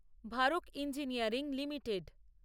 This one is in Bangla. ভারোক ইঞ্জিনিয়ারিং লিমিটেড